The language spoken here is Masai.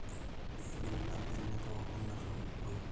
eidim ina bene pooki atununukui